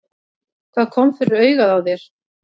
Hvað kom fyrir augað á þér?